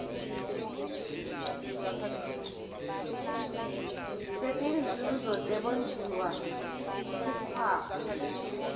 setinzuzo tebondliwa kusikhwama